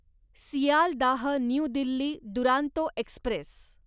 Sealdah new Delhi Duronto Express